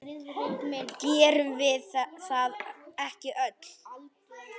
Gerum við það ekki öll?